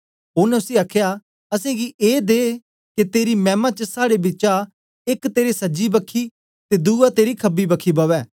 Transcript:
उनै उसी आखया असेंगी एदे के तेरी मैमा च साड़े बिचा एक तेरे सजी बखी ते दुआ तेरी खबी बखी बवे